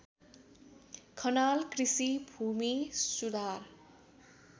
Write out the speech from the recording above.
खनाल कृषि भूमिसुधार